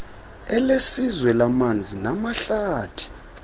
elesizwe lamanzi namahlathi